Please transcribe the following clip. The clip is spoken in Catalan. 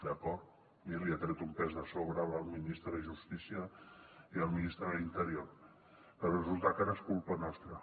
d’acord miri li ha tret un pes de sobre al ministre de justícia i al ministre de l’interior perquè resulta que ara és culpa nostra